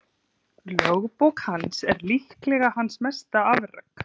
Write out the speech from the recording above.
Lögbók hans er líklega hans mesta afrek.